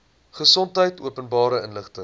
gesondheid openbare inligting